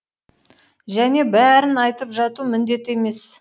және бәрін айтып жату міндет емес